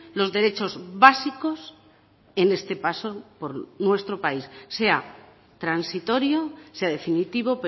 los derechos básicos en este paso por nuestro país sea transitorio sea definitivo